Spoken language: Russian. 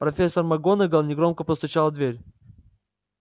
профессор макгонагалл негромко постучала в дверь